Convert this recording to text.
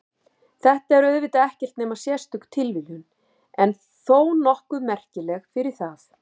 Þetta er auðvitað ekkert nema sérstök tilviljun en þó nokkuð merkileg fyrir það.